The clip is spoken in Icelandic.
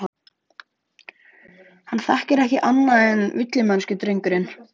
Hann þekkir ekki annað en villimennsku, drengurinn.